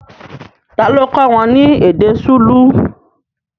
Tá lo kọ́ wọn ní èdè Súlù